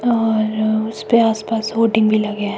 और उसपे आसपास वोटिंग भी लगे हैं।